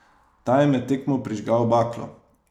Ta je med tekmo prižgal baklo.